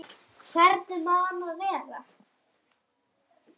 Hvernig má annað vera?